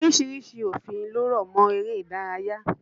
Oríṣiríṣi òfin ló rọ̀mọ́ eré ìdárayá.